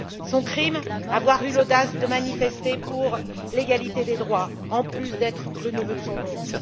Son crime avoir eu l'audace de manifester pour l'égalité des droits, en plus d'être le neveu de son oncle.